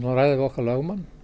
að ræða við okkar lögmann